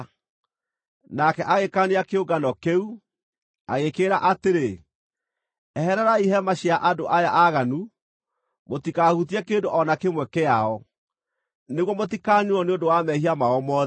Nake agĩkaania kĩũngano kĩu, agĩkĩĩra atĩrĩ, “Ehererai hema cia andũ aya aaganu! Mũtikahutie kĩndũ o na kĩmwe kĩao, nĩguo mũtikaniinwo nĩ ũndũ wa mehia mao mothe.”